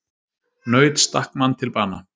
Naut stakk mann til bana